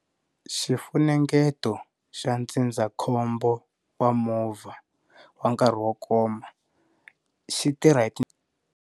Xifunengeto xa ndzindzakhombo wa movha wa nkarhi wo koma xitirha hi.